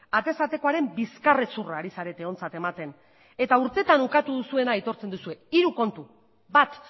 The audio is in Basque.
atez atekoaren bizkarrezurra ari zarete ontzat ematen eta urtetan ukatu duzuena aitortzen duzue hiru kontu bat